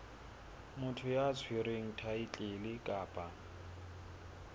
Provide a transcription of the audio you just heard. motho ya tshwereng thaetlele kapa